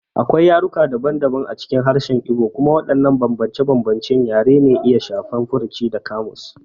Akwai yaruka daban-daban a cikin harshen Igbo, kuma waɗannan bambance-bambancen yare na iya shafar furuci da ƙamus.